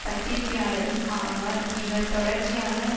பத்திரிகையாளரும் ஆவார் இவர் தொடர்ச்சியாக